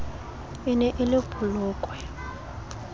e ne e le polokwe